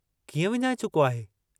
कीअं विञाए चुको आहे?